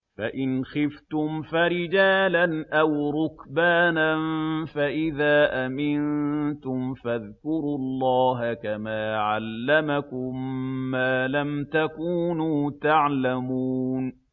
فَإِنْ خِفْتُمْ فَرِجَالًا أَوْ رُكْبَانًا ۖ فَإِذَا أَمِنتُمْ فَاذْكُرُوا اللَّهَ كَمَا عَلَّمَكُم مَّا لَمْ تَكُونُوا تَعْلَمُونَ